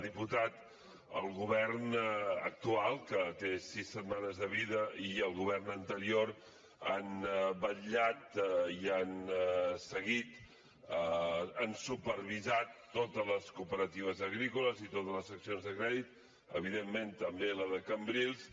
diputat el govern actual que té sis setmanes de vida i el govern anterior han vetllat i han seguit han supervisat totes les cooperatives agrícoles i totes les seccions de crèdit evidentment també la de cambrils